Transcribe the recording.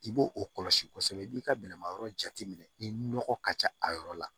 I b'o o kɔlɔsi kosɛbɛ i b'i ka bɛlɛmayɔrɔ jateminɛ ni nɔgɔ ka ca a yɔrɔ la